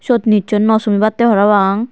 syot nicchoi naw sumibattey parapang.